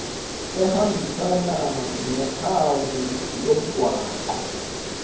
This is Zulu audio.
ehambisana nophawu lomgwaqo